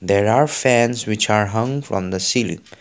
there are fans which are hung on the seal.